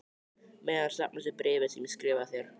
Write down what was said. meðan safnast upp bréfin sem ég skrifa þér.